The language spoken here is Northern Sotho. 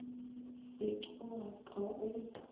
se ke wa ka o